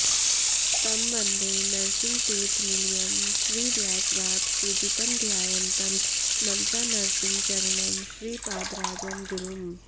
तं वन्दे नरसिंहतीर्थनिलयं श्रीव्यासराट् पूजितं ध्यायन्तं मनसा नृसिंहचरणं श्रीपादराजं गुरुम्